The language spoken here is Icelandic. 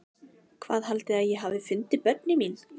Hvað haldið þið að ég hafi fundið börnin mín?